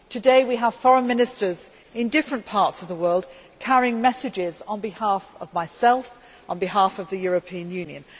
Today, we have Foreign Ministers in different parts of the world carrying messages on behalf of myself, on behalf of the European Union.